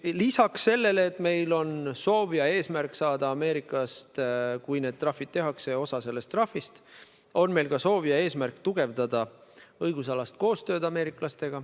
Lisaks sellele, et meil on soov ja eesmärk saada Ameerikast, kui need trahvid tehakse, osa sellest trahvist, on meil soov ja eesmärk tugevdada ka ameeriklastega tehtavat õigusalast koostööd.